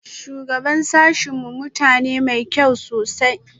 Shugaban sashen mu mutum ne mai kyau sosai